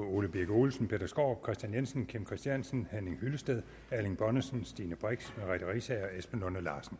ole birk olesen peter skaarup kristian jensen kim christiansen henning hyllested erling bonnesen stine brix merete riisager og esben lunde larsen